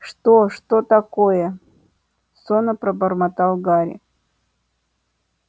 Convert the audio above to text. что что такое сонно пробормотал гарри